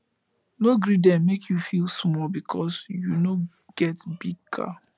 no gree dem make you feel small because you no get big car